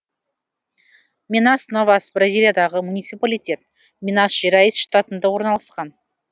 минас новас бразилиядағы муниципалитет минас жерайс штатында орналасқан